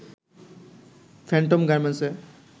Phantom গার্মেন্টসে